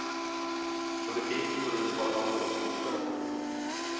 Politik går ut på att ha åsikter.